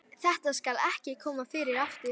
Þetta skal ekki koma fyrir aftur.